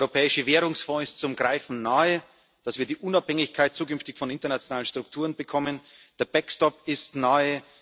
Der Europäische Währungsfonds ist zum Greifen nahe, damit wir zukünftig die Unabhängigkeit von internationalen Strukturen bekommen. Der backstop ist nahe.